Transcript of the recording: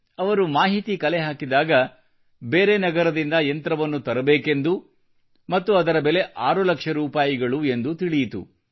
ಅವರು ಮಾಹಿತಿ ಕಲೆಹಾಕಿದಾಗ ಬೇರೆ ನಗರದಿಂದ ಯಂತ್ರವನ್ನು ತರಬೇಕೆಂದು ಮತ್ತು ಅದರ ಬೆಲೆ 6 ಲಕ್ಷ ರೂಪಾಯಿ ಎಂದು ತಿಳಿಯಿತು